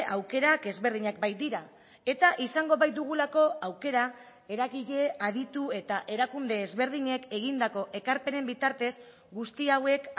aukerak ezberdinak baitira eta izango baitugulako aukera eragile aditu eta erakunde ezberdinek egindako ekarpenen bitartez guzti hauek